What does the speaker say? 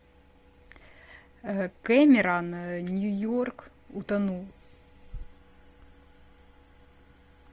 кэмерон нью йорк утонул